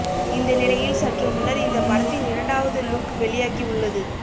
இந்த நிலையில் சற்று முன்னர் இந்த படத்தின் இரண்டாவது லுக் வெளியாகி உள்ளது